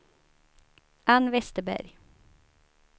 Ann Westerberg